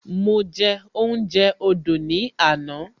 Mo je ounje odo ni ana